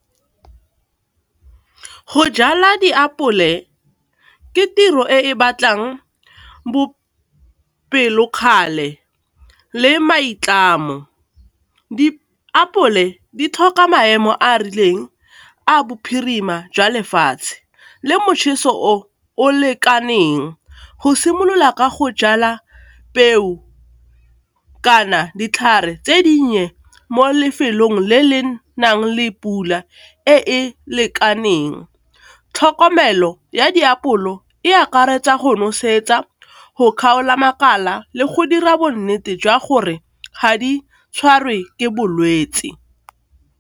Go jala diapole ke tiro e batlang bopelokgale le maitlamo. Diapole di tlhoka maemo a a rileng a bophirima jwa lefatshe le motšheso o o lekaneng go simolola ka go jala peo kana ditlhare tse dinnye mo lefelong le le nang le pula e e lekaneng. Tlhokomelo ya diapole e akaretsa, go nosetsa, go kgaola makala, le go dira bonnete jwa gore ga di tshwarwe ke bolwetse.